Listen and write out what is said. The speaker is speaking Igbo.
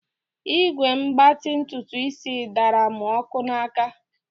Ígwè mgbatị ntutuisi daara m ọkụ n'áká.